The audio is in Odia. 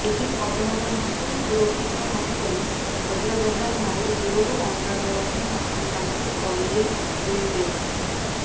ଏହି ଅଭୟାରଣ୍ୟକୁ ସୁରକ୍ଷିତ ମନେକରି ହଜାର ହଜାର ମାଇଲ ଦୂରରୁ ଅଣ୍ଡା ଦେବା ପାଇଁ ଆସିଥାନ୍ତି ଅଲିଭ ରିଡ୍ଲେ